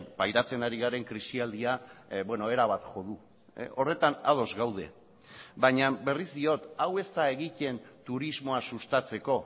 pairatzen ari garen krisialdia erabat jo du horretan ados gaude baina berriz diot hau ez da egiten turismoa sustatzeko